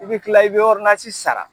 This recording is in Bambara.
I bɛ tila i bɛ sara.